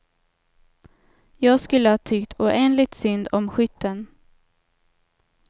Jag skulle ha tyckt oändligt synd om skytten.